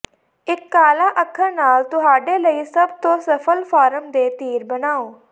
ਇੱਕ ਕਾਲਾ ਅੱਖਰ ਨਾਲ ਤੁਹਾਡੇ ਲਈ ਸਭ ਤੋਂ ਸਫਲ ਫਾਰਮ ਦੇ ਤੀਰ ਬਣਾਉ